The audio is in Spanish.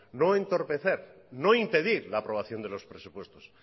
no entorpecer o no impedir la aprobación de los presupuestos